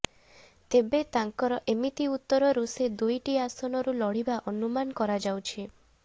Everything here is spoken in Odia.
ତେବେ ତାଙ୍କର ଏମିତି ଉତ୍ତରରୁ ସେ ଦୁଇଟି ଆସନରୁ ଲଢ଼ିବା ଅନୁମାନ କରାଯାଉଛି